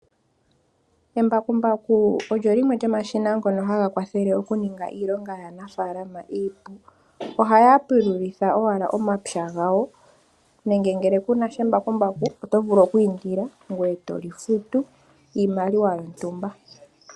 Embakumbaku olyo limwe lyomomashina ngoka haga ningi iilonga yaanafalama iipu, ohaya pululitha owala omapya ngawo nenge ngele kunasha embakumbaku otovulu okwiindila etoli futu iimaliwa yontumba.